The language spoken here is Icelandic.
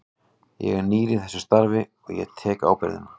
Ég er nýr í þessu starfi og ég tek ábyrgðina.